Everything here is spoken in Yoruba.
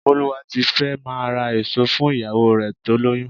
Bólúwátifẹ́ máa ra èso fún ìyàwó rẹ tó lóyún.